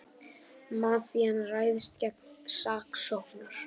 Mafían ræðst gegn saksóknara